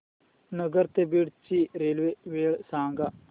नगर ते बीड ची रेल्वे वेळ सांगा